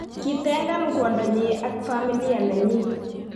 kitengan kwondonyi ak familia nenyi.